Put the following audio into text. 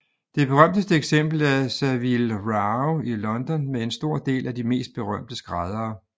Det berømteste eksempel er Savile Row i London med en stor del af de mest berømte skræddere